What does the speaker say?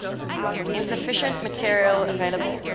insufficient material available